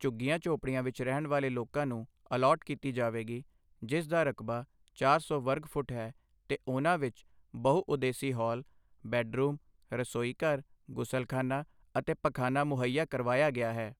ਝੁੱਗੀਆਂ-ਝੌਂਪੜੀਆਂ ਵਿਚ ਰਹਿਣ ਵਾਲੇ ਲੋਕਾਂ ਨੂੰ ਅਲਾਟ ਕੀਤੀ ਜਾਵੇਗੀ, ਜਿਸ ਦਾ ਰਕਬਾ ਚਾਰ ਸੌ ਵਰਗ ਫ਼ੁੱਟ ਹੈ ਤੇ ਉਨ੍ਹਾਂ ਵਿੱਚ ਬਹੁ ਉਦੇਸੀ ਹਾਲ, ਬੈੱਡਰੂਮ, ਰਸੋਈਘਰ, ਗੁਸਲਖਾਨਾ ਤੇ ਪਖਾਨਾ ਮੁਹੱਈਆ ਕਰਵਾਇਆ ਗਿਆ ਹੈ।